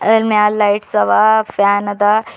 ಅದರ ಮ್ಯಾಲ್ ಲೈಟ್ಸ್ ಅವ ಫ್ಯಾನ್ ಅದ.